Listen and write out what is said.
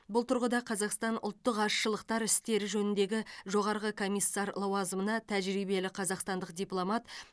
бұл тұрғыда қазақстан ұлттық азшылықтар істері жөніндегі жоғарғы комиссар лауазымына тәжірибелі қазақстандық дипломат